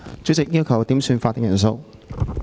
主席，我要求點算法定人數。